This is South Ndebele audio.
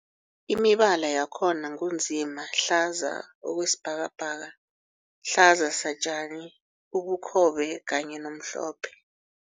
Imibala yakhona ngu nzima, hlaza okwesibhakabhaka, hlaza satjani, ubukhobe kanye nomhlophe.